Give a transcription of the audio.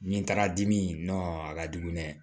Ni n taara dimi a ka jugu dɛ